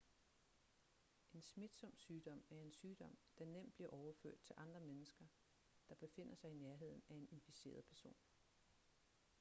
en smitsom sygdom er en sygdom der nemt bliver overført til andre mennesker der befinder sig i nærheden af en inficeret person